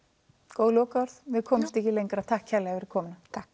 góð lokaorð við komumst ekki lengra takk fyrir komuna takk